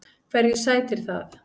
Hverju sætir það?